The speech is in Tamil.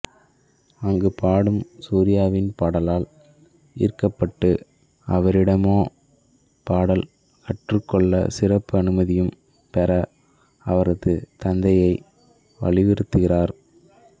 அங்கு பாடும் சூர்யாவின் பாடலால் ஈர்க்கப்பட்டு அவரிடமே பாடல் கற்றுக்கொள்ள சிறப்பு அனுமதியும் பெற அவரது தந்தையை வலியுறுத்துகிறார்